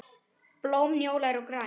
Blóm njóla eru græn.